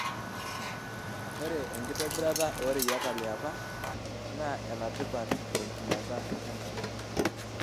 Ore enkitobirata oreyiata liapa naa enatipat tenchumata enkare.